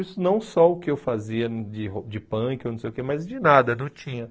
Isso não só o que eu fazia de ro de punk, não sei o quê mas de nada, não tinha.